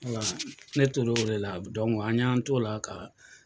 Ne tor'o de la an y'an to la ka